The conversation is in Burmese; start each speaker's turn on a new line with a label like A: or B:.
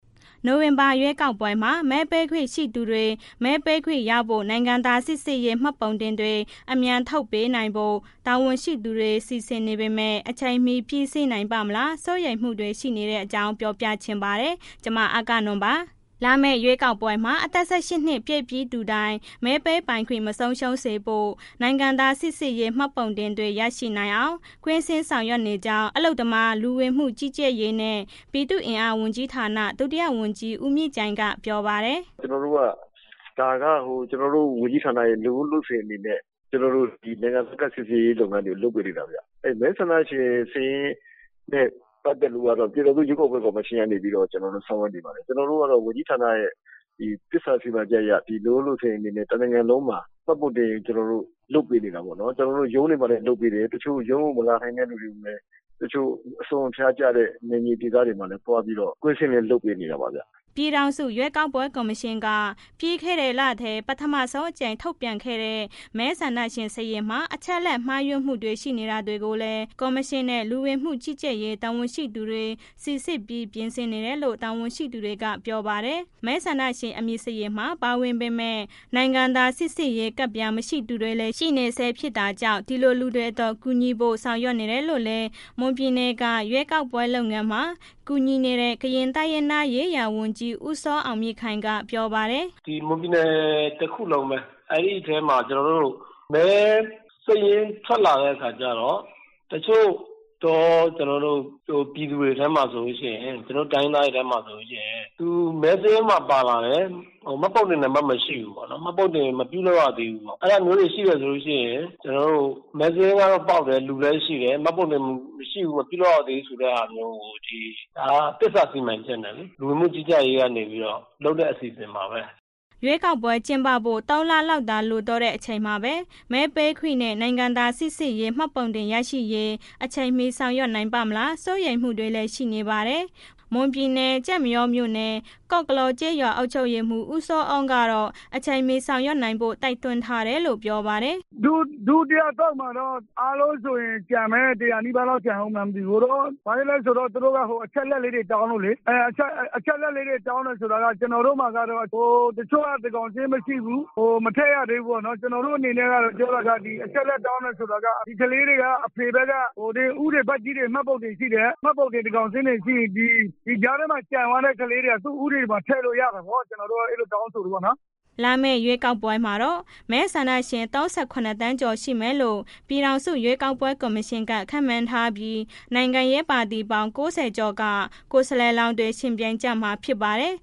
A: နိုဝင်ဘာလ ရွေးကောက်ပွဲမှာ မဲပေးခွင့်ရှိသူတွေ မဲပေးခွင့်ရဖို့ နိုင်ငံသားစိစစ်ရေး မှတ်ပုံတင်တွေ အမြန်ထုတ်ပေးနိုင်ဖို့ တာဝန်ရှိသူတွေ စီစဉ်နေပေမဲ့ အချိန်မီ ပြီးစီးနိုင်ပါ့မလား စိုးရိမ်မှုတွေ ရှိနေတဲ့အကြောင်း ပြောပြချင်ပါတယ်။ ဗွီအိုအေမြန်မာပိုင်းသတင်းထောက် အဂ္ဂနွန် တင်ပြပေးထားပါတယ်။ လာမယ့် ရွေးကောက်ပွဲမှာ အသက် ၁၈ နှစ်ပြည့်ပြီး သူတိုင်း မဲပေးပိုင်ခွင့် မဆုံးရှုံးစေဖို့ နိုင်ငံသားစိစစ်ရေး မှတ်ပုံတင်တွေ ရနိုင်အောင် ကွင်းဆင်းဆောင်ရွက်နေကြောင်း အလုပ်သမား၊ လူဝင်မှုကြီးကြပ်ရေးနှင့် ပြည်သူ့အင်အားဝန်ကြီးဌာန ဒုတိယဝန်ကြီး ဦးမြင့်ကြိုင် ကပြောပါတယ်
B: ။ “ကျွန်တော်တို့က ဒါက ကျွန်တော်တို့ဝန်ကြီးဌာနက လုပ်ရိုးလုပ်စဉ်အနေနဲ့ကျွန်တော်တို့ နိုင်ငံသားစိစစ်ရေးလုပ်ငန်းတွေ လုပ်ပေးနေတာဗျ၊ မဲဆန္ဒရှင်စာရင်းနဲ့ ပတ်သက်လို့ကတော့ ပြန်ထောင်စုရွေးကောက်ပွဲကော်မရှင်ကနေပြီးတော့ ကျွန်တော်တို့ ဆောင်ရွက်နေပါတယ်၊ ကျွန်တော်တို့ကတော့ ဝန်ကြီးဌာနရဲ့ သစ္စာစီမံချက်အရ လုပ်ရိုးလုပ်စဉ်အနေနဲ့ တစ်နိုင်ငံလုံးမှာ မှတ်တင်ပုံ ကျွန်တော်တို့ လုပ်ပေးနေတာပေါ့နော် ။ ရုံးမှာလည်းလုပ်ပေးတယ်၊ တစ်ချို့ ရုံးကိုမလာနိုင်တဲ့လူတွေ တစ်ချို့ အစွန်းအဖျားကျတဲ့ နယ်မြေဒေသတွေမှာ သွားပြီးတော့ ကွင်းဆင်းပြီးလုပ်ပေးနေတာ
A: ပေါ့ဗျ။’’ ပြည်ထောင်စု ရွေးကောက်ပွဲ ကော်မရှင်က ပြီးခဲ့တဲ့လထဲ ပထမဆုံးအကြိမ် ထုတ်ပြန်ခဲ့တဲ့ မဲဆန္ဒရှင် စာရင်းမှာ အချက်အလက် မှားယွင်းမှုတွေ ရှိနေတာတွေကိုလည်း ကော်မရှင်နဲ့ လူဝင်မှုကြီးကြပ်ရေး တာဝန်ရှိသူတွေ စိစစ်ပြီး ပြင်ဆင်နေတယ်လို့ တာဝန်ရှိတွေက ပြောပါတယ်။ မဲဆန္ဒရှင် အမည်စာရင်းမှာ ပါဝင်ပေမဲ့ နိုင်ငံသားစိစစ်ရေးကဒ်ပြား မရှိသူတွေလည်း ရှိနေဆဲ ဖြစ်တာကြောင့် ဒီလိုလူတွေအတွက် ကူညီဖို့ စီစဉ်နေတယ်လို့လည်း မွန်ပြည်နယ်က ရွေးကောက်ပွဲ လုပ်ငန်းတွေမှာ ကူညီနေတဲ့ ကရင်တိုင်းရင်းသားရေးရာဝန်ကြီး ဦးစောအောင်မြင့်ခိုင်က ပြောတယ်။
C: “ဒီမွန်ပြည်နယ်တစ်ခုလုံးပဲ အဲ့ဒီထဲမှာ မဲစာရင်းထွက်လာတဲ့အခါကျတော့ တစ်ချို့ ပြည်သူတွေထဲမှာဆိုလို့ရှိရင် ကျွန်တော်တိုင်းရင်းသားတွေထဲမှာဆိုလို့ရှိရင် မဲစာရင်းထဲမှာ ပါလာတယ်။ မှတ်ပုံတင် နံပါတ်မရှိဘူးပေါ့ မှတ်ပုံတင်မပြုလုပ်ရသေးဘူးပေါ့အဲ့လိုမျိုးတွေရှိတယ်ဆိုလို့ရှိရင် မဲစာရင်းလည်းပေါက်တယ် လူလည်းရှိတယ်မှတ်ပုံတင်မရှိဘူးပေါ့ ဒါက သစ္စာစီမံချက်နဲ့လေး သစ္စာစီမံချက်နဲ့ လူဝင်မှုကြီးကြပ်ရေးကနေပြီးတော့ လုပ်တဲ့အစီအစဉ်ပါဘဲ။
A: ” ရွေးကောက်ပွဲ ကျင်းပဖို့ ၃ လလောက်သာ ကျန်တော့တဲ့ အချိန်မှာပဲ မဲပေးခွင့်နဲ့ နိုင်ငံသားစိစစ်ရေး မှတ်ပုံတင် ရရှိရေး အချိန်မီ ဆောင်ရွက်နိုင်ပါ့မလား စိုးရိမ်မှုတွေလည်း ရှိနေပါတယ်။ မွန်ပြည်နယ် ကျိုက်မရောမြို့နယ် ကော့ကလော့ကျေးရွာ အုပ်ချုပ်ရေးမှုး ဦးစောအုံးကတော့ အချိန်မီဆောင်ရွက်နိုင်ဖို့ တိုက်တွန်းထားတယ်လို့ ပြောပါတယ်။
D: “ဒုတိယ အသုတ်မှာတော့ အားလုံးဆိုရင် ကျန်မယ် ၁၀၀ နီးပါးလောက်ကျန်အုန်းမလားတော့မသိဘူး ဘာလဲဆိုတော့ သူတို့က အချက်အလက်လေးတွေ တောင်းလို့လေ အချက်အလက်တောင်း တယ်ဆိုတာ ကျနော်တို့မှာကတော့ တစ်ချို့က သန်းခေါင်းစာရင်းမရှိဘူး။ မထည့်ရသေးဘူးပေါ့နော် ကျနော်တို့ အနေနဲ့က ပြောရရင် ဒီအချက်အလက် တောင်းတယ်ဆိုတာက အဖေဘက်က ဦးတွေ ဘကြီးတွေမှာ မှတ်ပုံတင်ရှိတယ် သန်းခေါင်းစာရင်းတွေရှိတယ် ဒီကြားထဲမှာ ကျန်သွားတဲ့ကလေးတွေက သူ့ဥပဒေထဲမှာ ထည့်လို့ရတာပေါ့ ကျနော်တို့တ က အဲ့လိုတောင်းဆိုတယ်ပေါ့နေ
A: ာ်” လာမယ့် ရွေးကောက်ပွဲမှာတော့ မဲဆန္ဒရှင် ၃၇ သန်းကျော် ရှိမယ်လို့ ပြည်ထောင်စု ရွေးကောက်ပွဲ ကော်မရှင်က ခန့်မှန်းထားပြီး နိုင်ငံရေးပါတီပေါင်း ၉၀ ကျော်က ကိုယ်စားလှယ်တွေ ယှဉ်ပြိုင်ကျမှာ ဖြစ်ပါတယ်